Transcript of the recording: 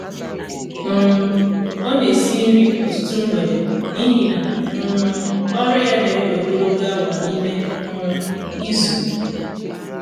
um ọ na esi nri ọtụtụ mgbede n'ihi na um ọrụ ya na-ewe ogologo awa n'ime um izu